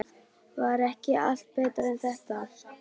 Var ekki allt betra en þetta?